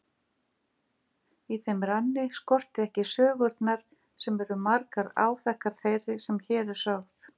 Í þeim ranni skortir ekki sögurnar sem eru margar áþekkar þeirri sem hér er sögð.